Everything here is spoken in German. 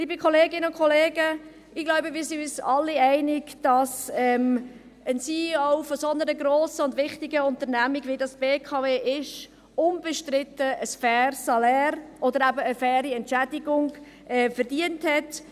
Liebe Kolleginnen und Kollegen, ich glaube, wir sind uns alle einig, dass ein CEO einer so grossen und wichtigen Unternehmung, wie dies die BKW ist, unbestritten ein faires Salär oder eben eine faire Entschädigung verdient hat.